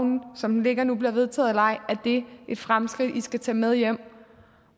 som det ligger nu bliver vedtaget eller ej er det et fremskridt i skal tage med hjem